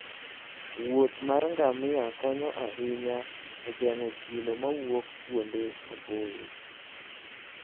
wuoth mar ngamia konyo ahinya e geng'o chilo mawuok kuonde maboyo.